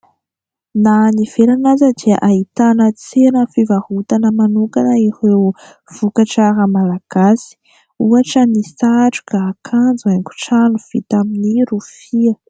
Na any ivelany aza dia ahitana tsena fivarotana manokana ireo vokatra "art" malagasy ohatra : ny satroka, akanjo, haingo trano vita amin'ny rofia.